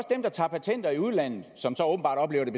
dem der tager patenter i udlandet og som så åbenbart oplever det